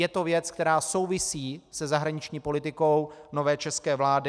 Je to věc, která souvisí se zahraniční politikou nové české vlády.